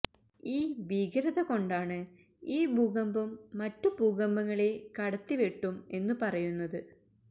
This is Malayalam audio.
ഈ ഭീകരത കൊണ്ടാണു ഈ ഭൂകമ്പം മറ്റു ഭൂകമ്പങ്ങളെ കടത്തിവെട്ടും എന്നു പറയുന്നത്